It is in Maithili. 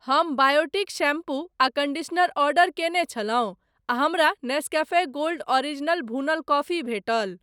हम बायोटीक शैम्पू आ कन्डीशनर ऑर्डर कयने छलहुँ आ हमरा नेस्कैफ़े गोल्ड ओरिजिनल भूनल कॉफी भेटल।